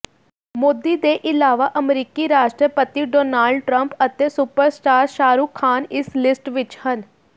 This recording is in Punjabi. ਮੋਦੀ ਦੇ ਇਲਾਵਾ ਅਮਰੀਕੀ ਰਾਸ਼ਟਰਪਤੀ ਡੋਨਾਲਡ ਟਰੰਪ ਅਤੇ ਸੁਪਰਸਟਾਰ ਸ਼ਾਹਰੁਖ ਖਾਨ ਇਸ ਲਿਸਟ ਵਿੱਚ ਹਨ